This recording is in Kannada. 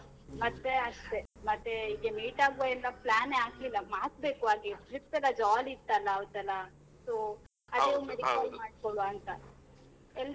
ಮತ್ತೆ ಅಷ್ಟೇ, ಮತ್ತೆ ಹೀಗೆ meet ಆಗುವ ಎಂಬ plan ಎ ಹಾಕ್ಲಿಲ್ಲ ಹಾಕ್ಬೇಕು ಹಾಗೆ, trip ಎಲ್ಲ jolly ಇತ್ತಲ್ಲ ಅವ್ರ್ದೆಲ್ಲಾ so ಅದು ಒಮ್ಮೆ recall ಮಾಡ್ಕೊಳುವ .